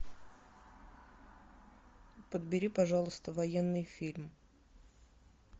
подбери пожалуйста военный фильм